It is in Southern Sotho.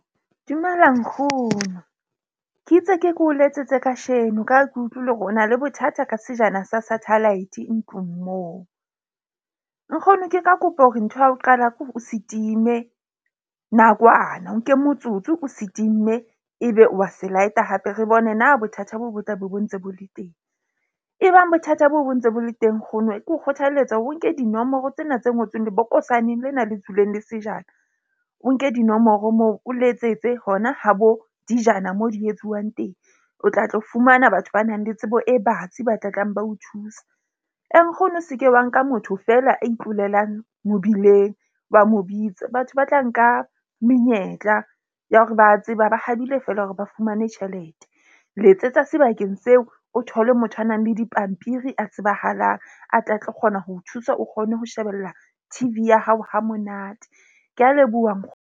Dumela nkgono ke itse ke ke o letsetse kasheno ka ha ke utlwile hore o na le bothata ka sejana sa satellite ntlong moo. Nkgono ke ka kopa hore ntho ya ho qala ke hore o se time nakwana. O nke motsotso o se timme ebe o wa se light-a hape re bone na bothata boo bo tlabe bo ntse bo le teng. E bang bothata boo bo ntse bo le teng. Nkgono ke o kgothalletsa hore o nke dinomoro tsena tse ngotsweng lebokosaneng lena le tswileng le sejana, o nke dinomoro moo o letsetse hona ha bo dijana mo di etsuwang teng. O tla tlo fumana batho ba nang le tsebo e batsi, ba tla tlang ba o thusa. Nkgono se ke wa nka motho feela a itlolelang mobileng, wa mo bitsa. Batho ba tla nka menyetla ya hore ba tseba ba habile feela hore ba fumane tjhelete. Letsetsa sebakeng seo, o thole motho a nang le dipampiri a tsebahalang a tle a tlo kgona ho o thusa, o kgone ho shebella T_V ya hao hamonate, ke a leboha .